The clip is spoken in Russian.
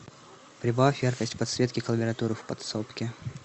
прибавь яркость подсветки клавиатуры в подсобке